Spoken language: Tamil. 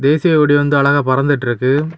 தேசிய கொடி வந்து அழகா பறந்துட்டுருக்கு.